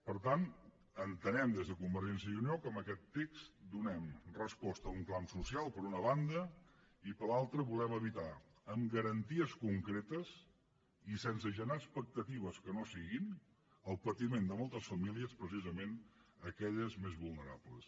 per tant entenem des de convergència i unió que amb aquest text donem resposta a un clam social per una banda i per l’altra volem evitar amb garanties concretes i sense generar expectatives que no siguin el patiment de moltes famílies precisament aquelles més vulnerables